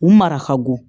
U mara ka bon